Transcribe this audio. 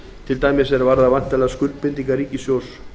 til dæmis um væntanlegar skuldbindingar ríkissjóðs